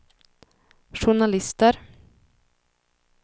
journalister